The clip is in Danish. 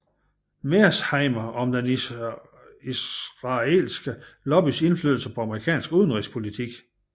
Mearsheimer om den isralske lobbys indflydelse på amerikansk udenrigspolitik